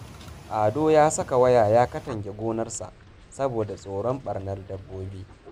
Ado ya saka waya ya katange gonarsa, saboda tsoron ɓarnar dabbobi